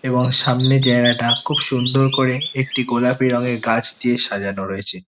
এবং সামনে জায়গাটা খুব সুন্দর করে একটি গোলাপি রঙের গাছ দিয়ে সাজানো রয়েছে।